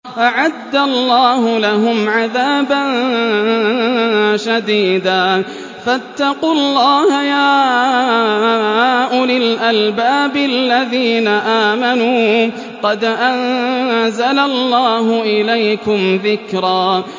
أَعَدَّ اللَّهُ لَهُمْ عَذَابًا شَدِيدًا ۖ فَاتَّقُوا اللَّهَ يَا أُولِي الْأَلْبَابِ الَّذِينَ آمَنُوا ۚ قَدْ أَنزَلَ اللَّهُ إِلَيْكُمْ ذِكْرًا